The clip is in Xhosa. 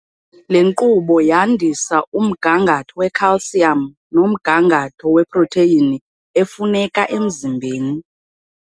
Le nkqubo yandisa umgangatho wecalcium nomgangatho weprotheyini efuneka emzimbeni.